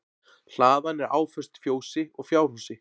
Hlaðan er áföst fjósi og fjárhúsi